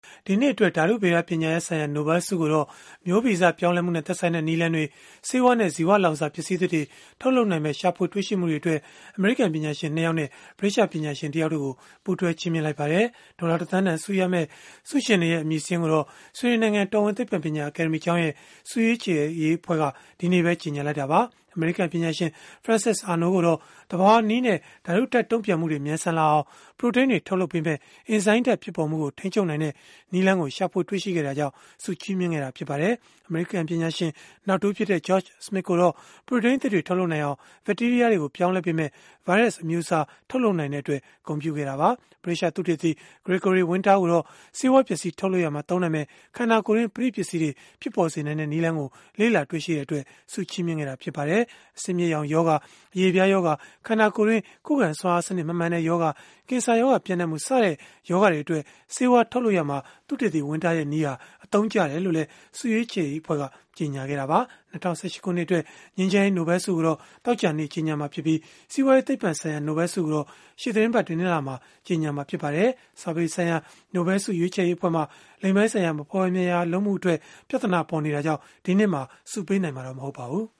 ဒီနှစ်အတွက် ဓာတုဗေဒပညာရပ်ဆိုင်ရာ နိုဘဲလ်ဆုကိုတော့ မျိုးဗီဇပြောင်းလဲမှုနဲ့ သက်ဆိုင်တဲ့ နည်းလမ်းတွေ၊ ဆေးဝါးနဲ့ ဇီဝလောင်စာ ပစ္စည်းသစ်တွေ ထုတ်လုပ်နိုင်မယ့် ရှာဖွေတွေ့ရှိမှုတွေအတွက် အမေရိကန်ပညာရှင် ၂ ယောက်နဲ့ ဗြိတိသျှပညာရှင် တယောက်တို့ကို ပူးတွဲချီးမြှင့်လိုက်ပါတယ်။ ဒေါ်လာတသန်းတန်ဆုရမယ့် ဆုရှင်တွေရဲ့ အမည်စာရင်းကိုတော့ ဆွီဒင်နိုင်ငံ တော်ဝင်သိပ္ပံပညာ အကယ်ဒမီကျောင်းရဲ့ ဆုရွေးချယ်ရေးအဖွဲ့က ဒီနေ့ပဲ ကြေညာလိုက်တာပါ။ အမေရိကန် ပညာရှင် Frances Arnold ကိုတော့ သဘာဝနည်းနဲ့ ဓာတုဓာတ်တုံ့ပြန်မှုတွေ မြန်ဆန်လာအောင် ပရိုတိန်းတွေ ထုတ်လုပ်ပေးမယ့် အင်ဇိုင်းဓာတ်ဖြစ်ပေါ်မှုကို ထိန်းချုပ်နိုင်တဲ့ နည်းလမ်းကို ရှာတွေ့ခဲ့တဲ့အတွက် ဆုချီးမြှင့်ခဲ့တာ ဖြစ်ပါတယ်။ အမေရိကန် ပညာရှင်နောက်တဦးဖြစ်တဲ့ George Smith ကိုတော့ ပရိုတိန်းအသစ်တွေ ထုတ်လုပ်နိုင်အောင် ဘက်တီးရီးယားတွေကို ပြောင်းလဲပေးမယ့် ဗိုင်းရပ်စ်အမျိုးအစား ထုတ်လုပ်နိုင်တဲ့အတွက် ဂုဏ်ပြုခဲ့တာပါ။ ဗြိတိသျှသုတေသီ Gregory Winter ကိုတော့ ဆေးဝါးပစ္စည်းထုတ်လုပ်ရာမှာ သုံးနိုင်မယ့် ခန္ဓာကိုယ်တွင်း ပဋိပစ္စည်းတွေ ဖြစ်ပေါ်စေနိုင်တဲ့ နည်းလမ်းကို လေ့လာတွေ့ရှိခဲ့တဲ့အတွက် ဆုချီးမြှင့်ခဲ့တာ ဖြစ်ပါတယ်။ အဆစ်အမြစ်ရောင်ရောဂါ၊ အရေပြားရောဂါ၊ ခန္ဓာကိုယ်တွင်း ခုခံစွမ်းအားစနစ် မမှန်တဲ့ရောဂါ၊ ကင်ဆာရောဂါပျံ့နှံ့မှု စတဲ့ ရောဂါတွေအတွက် ဆေးဝါးထုတ်လုပ်ရာမှာ သုတေသီ Winter ရဲ့ နည်းဟာ အသုံးကျတယ်လို့လည်း ဆုရွေးချယ်ရေးအဖွဲ့က ကြေညာခဲ့တာပါ။ ၂၀၁၈ ခုနှစ်အတွက် ငြိမ်းချမ်းရေး နိုဘဲလ်ဆုကိုတော့ သောကြာနေ့မှာ ကြေညာမှာဖြစ်ပြီး၊ စီးပွားရေးသိပ္ပံဆိုင်ရာ နိုဘဲလ်ဆုကိုတော့ ရှေ့သီတင်းပတ် တနင်္လာနေ့မှာ ကြေညာမှာ ဖြစ်ပါတယ်။ စာပေဆိုင်ရာ နိုဘဲလ်ဆု ရွေးချယ်ရေးအဖွဲ့မှာ လိင်ပိုင်းဆိုင်ရာ မဖွယ်မရာလုပ်မှုအတွက် ပြဿနာပေါ်နေတဲ့အတွက် ဒီနှစ်မှာ ဆုပေးနိုင်မှာ မဟုတ်ပါဘူး